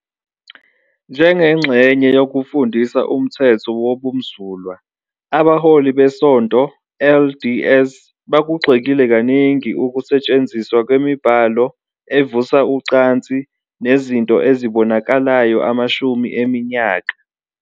Njengengxenye yokufundisa umthetho wobumsulwa, abaholi beSonto LDS bakugxekile kaningi ukusetshenziswa kwemibhalo evusa ucansi nezinto ezibonakalayo amashumi eminyaka.